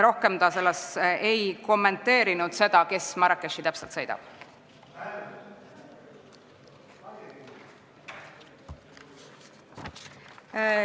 Rohkem ta ei kommenteerinud seda, kes täpselt Marrakechi sõidab.